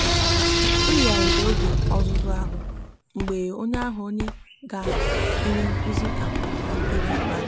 e yigharịrị m oge ọzụzụ ahụ mgbe onye ahụ mgbe onye ga-enye nkuzi kagburu na nkeji ikpeazụ.